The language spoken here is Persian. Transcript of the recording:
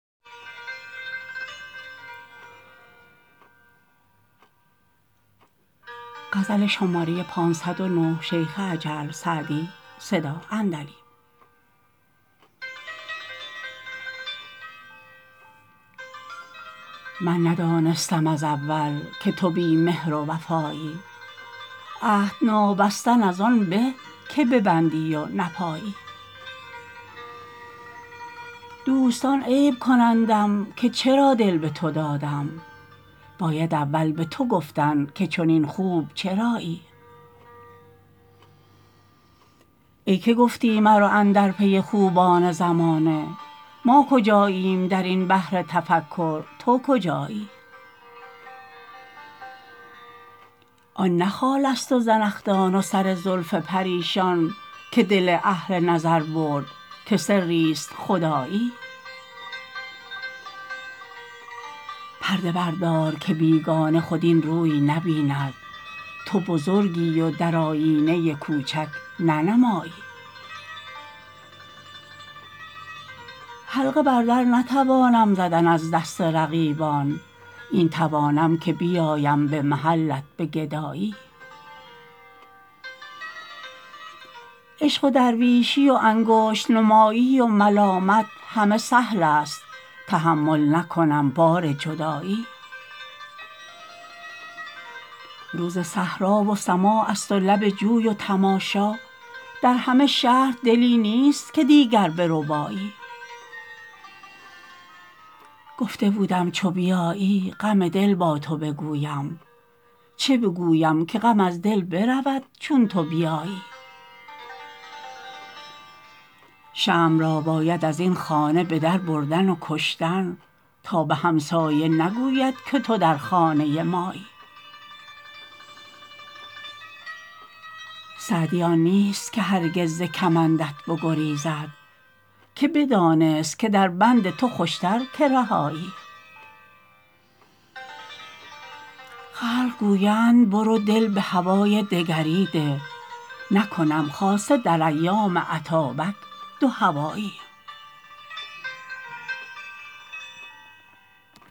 من ندانستم از اول که تو بی مهر و وفایی عهد نابستن از آن به که ببندی و نپایی دوستان عیب کنندم که چرا دل به تو دادم باید اول به تو گفتن که چنین خوب چرایی ای که گفتی مرو اندر پی خوبان زمانه ما کجاییم در این بحر تفکر تو کجایی آن نه خالست و زنخدان و سر زلف پریشان که دل اهل نظر برد که سریست خدایی پرده بردار که بیگانه خود این روی نبیند تو بزرگی و در آیینه کوچک ننمایی حلقه بر در نتوانم زدن از دست رقیبان این توانم که بیایم به محلت به گدایی عشق و درویشی و انگشت نمایی و ملامت همه سهلست تحمل نکنم بار جدایی روز صحرا و سماعست و لب جوی و تماشا در همه شهر دلی نیست که دیگر بربایی گفته بودم چو بیایی غم دل با تو بگویم چه بگویم که غم از دل برود چون تو بیایی شمع را باید از این خانه به در بردن و کشتن تا به همسایه نگوید که تو در خانه مایی سعدی آن نیست که هرگز ز کمندت بگریزد که بدانست که در بند تو خوشتر که رهایی خلق گویند برو دل به هوای دگری ده نکنم خاصه در ایام اتابک دوهوایی